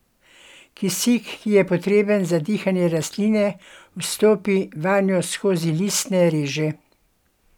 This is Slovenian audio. Kisik, ki je potreben za dihanje rastline, vstopi vanjo skozi listne reže.